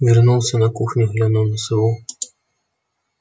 вернулся на кухню глянул на сову